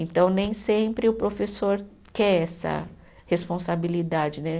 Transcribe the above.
Então, nem sempre o professor quer essa responsabilidade, né?